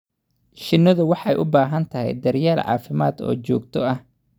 Shinnidu waxay u baahan tahay daryeel caafimaad oo joogto ah.